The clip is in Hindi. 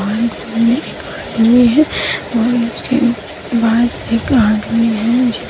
बस एक आदमी है।